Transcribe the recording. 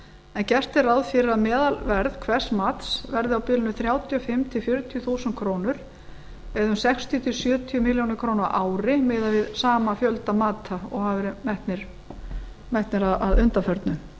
en gert er ráð fyrir að meðalverð hvers mats verði á bilinu þrjátíu og fimm til fjörutíu þúsund krónur eða um sextíu til sjötíu milljónum króna á ári miðað við sama fjölda mata og hafa verið metin að undanförnu